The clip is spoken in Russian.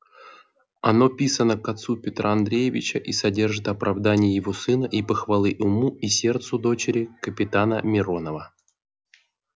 оно писано к отцу петра андреевича и содержит оправдание его сына и похвалы уму и сердцу дочери капитана миронова